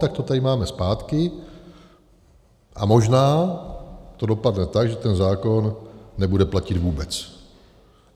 Tak to tady máme zpátky a možná to dopadne tak, že ten zákon nebude platit vůbec.